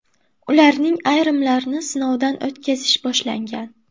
Ularning ayrimlarini sinovdan o‘tkazish boshlangan.